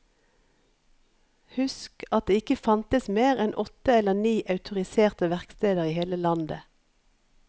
Husk at det ikke fantes mer enn åtte eller ni autoriserte verksteder i hele landet.